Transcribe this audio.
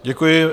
Děkuji.